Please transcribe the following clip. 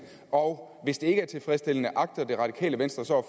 og hvis det ikke er tilfredsstillende agter det radikale venstre så